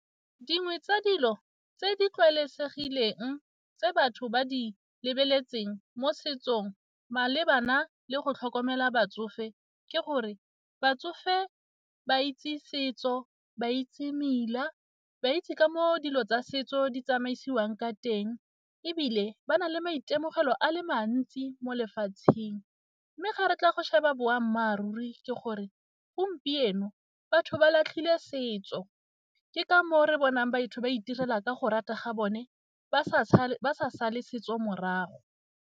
Dingwe tsa dilo tse di tlwaelesegileng tse batho ba di lebeletseng mo setsong malebana le go tlhokomela batsofe ke gore batsofe ba itse setso, ba itse mmila, ba itse ka moo dilo tsa setso di tsamaisiwang ka teng ebile ba na le maitemogelo a le mantsi mo lefatsheng mme ga re tla boammaaruri ke gore gompieno batho ba latlhile setso ke ka moo re bonang batho ba itirela ka go rata ga bone ba sa sale setso morago.